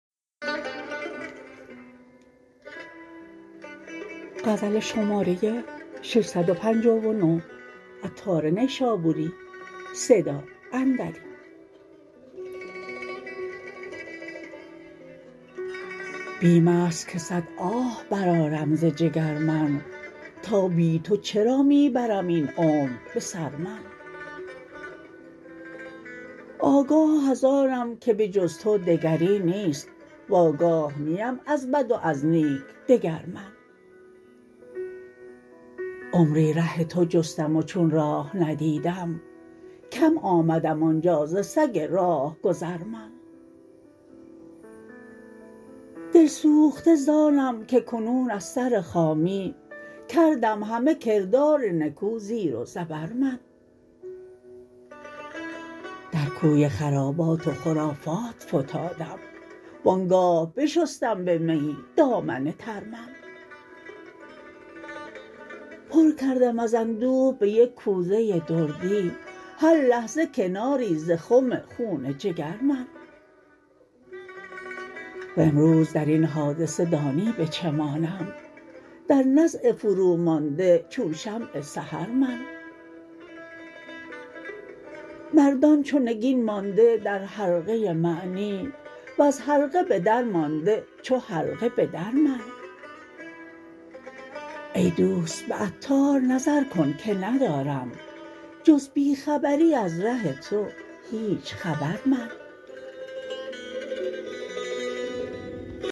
بیم است که صد آه برآرم ز جگر من تا بی تو چرا می برم این عمر به سر من آگاه از آنم که به جز تو دگری نیست و آگاه نیم از بد و از نیک دگر من عمری ره تو جستم و چون راه ندیدم کم آمدم آنجا ز سگ راهگذر من دل سوخته زانم که کنون از سرخامی کردم همه کردار نکو زیر و زبر من در کوی خرابات و خرافات فتادم وآنگاه بشستم به میی دامن تر من پر کردم از اندوه به یک کوزه دردی هر لحظه کناری ز خم خون جگر من وامروز درین حادثه دانی به چه مانم در نزع فرومانده چون شمع سحر من مردان چو نگین مانده در حلقه معنی وز حلقه به درمانده چو حلقه به در من ای دوست به عطار نظر کن که ندارم جز بی خبری از ره تو هیچ خبر من